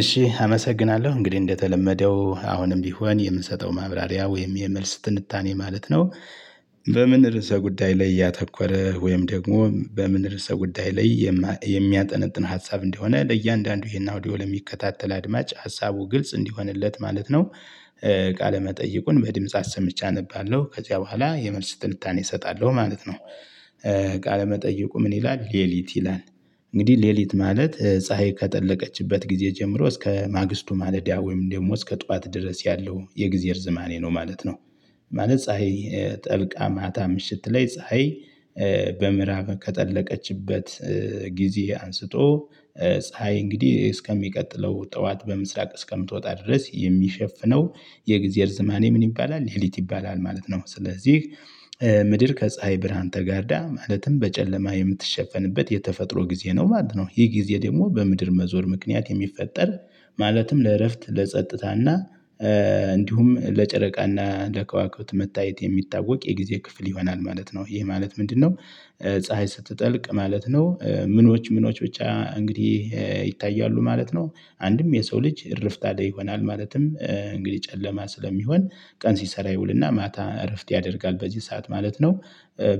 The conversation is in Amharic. እሺ አመሰግናለሁ እንግዲህ እንደተለመደው አሁንም ቢሆን የምንሰጠው ማብራሪያ ወይም የመልስ ትንታኔ ማለት ነው። በምን ርዕሰ ጉዳይ ላይ ያተኮረ ወይም ደግሞ በምን ርዕሰ ጉዳይ ላይ የሚያጠነጥን ሀሳብ እንደሆነ ለእያንዳንዱ ይሄን አውዲዮ የሚከታተል አድማጭ ሀሳቡ ግልጽ እንዲሆንለት ማለት ነው። ቃለ መጠይቁን በድምጽ አሰምቼ አነባለሁ ከዚያ በኋላ የመልስ ትንታኔ እሰጣለሁ ማለት ነው። ቃለ መጠይቁ ምን ይላል ለሊት ይላል? እንግዲህ ለሊት ማለት ፀሀይ ከጠለቀችበት ጊዜ ጀምሮ እስከ ማግስቱ ማለዳ ወይም ደግሞ እስከ ጠዋት ድረስ ያለው የግዜ እርዝማኔ ነው ማለት ነው። ማለት ፀሀይ ጠልቃ ማታ ምሽት ላይ ፀሀይ በምዕራብ ከጠለቀችበት ጊዜ አንስቶ ፀሀይ እንግዲህ እስከሚቀጥለው ጠዋት በምስራቅ እስከምትወጣ ድረስ የሚሸፍነው የግዜ እርዝማኔ ምን ይባላል ለሊት ይባላል ማለት ነው። ስለዚህ ምድር ከፀሀይ ብርሃን ተጋርዳ ማለትም በጨለማ የምትሸፈንበት የተፈጥሮ ጊዜ ነው ማለት ነው። ይሄ ጊዜ ደግሞ በምድር መዞር ምክንያት የሚፈጠር ማለትም ለእረፍት ለጸጥታና እንዲሁም ለጨረቃና ለከዋክብት መታየት የሚታወቅ የጊዜ ክፍል ይሆናል ማለት ነው። ይሄ ማለት ምንድነው? ፀሀይ ስትጠልቅ ማለት ነው ምኖች ምኖች ብቻ እንግዲህ ይታያሉ ማለት ነው። አንድም የሰው ልጅ እርፍታ ላይ ይሆናል ማለትም እንግዲህ ጨለማ ስለሚሆን ቀን ሲሰራ ይውልና ማታ እርፍት ያደርጋል በዚህ ሰዓት ማለት ነው።